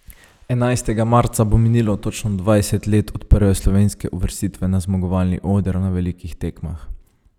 Enajstega marca bo minilo točno dvajset let od prve slovenske uvrstitve na zmagovalni oder na velikih tekmah.